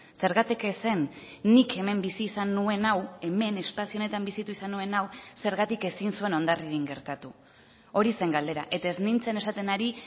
zergatik ez zen nik hemen bizi izan nuen hau hemen espazio honetan bizitu izan nuen hau zergatik ezin zuen hondarribian gertatu hori zen galdera eta ez nintzen esaten ari